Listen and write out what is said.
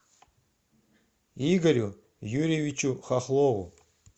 игорю юрьевичу хохлову